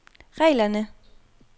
reglerne